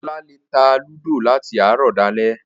Ọlá lè ta Ludo láti àárọ̀ dalẹ́